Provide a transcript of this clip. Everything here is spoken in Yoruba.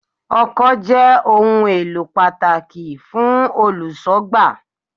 Ọkọ́ jẹ́ ohun èlò pàtàkì fún Olùṣọ́gbà.